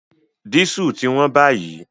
Dísù ti wón báyìí